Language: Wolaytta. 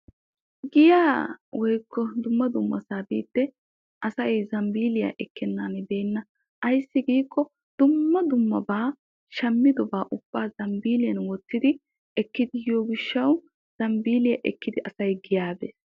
Giyaa woykko dumma dummasaa biiddi asay zambbiilliyaa ekkennan beenna. Ayssi giikko dumma dummabaa shammidobaa ubbaa zambbiilliyan wottidi ekkidi yiyo gishshaw zambbiilliya ekkidi asay giyaa bees.